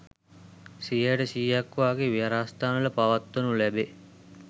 සියයට, සීයක් වාගේ විහාරස්ථානවල පවත්වනු ලැබේ.